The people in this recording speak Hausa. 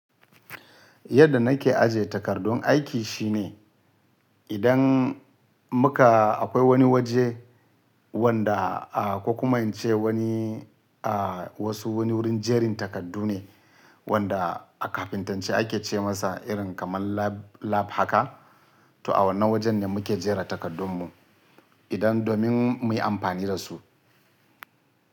Yadda nake aje takardun aiki shine idan muka akwai wani waje wanda aka kuma ce wani, a wasu wani wurin jerin takardu ne wanda a kafintance ake ce masa irin kamar lab lab haka. To a wannan wajen ne muke jera takardunmu idan domin muyi amfani da su.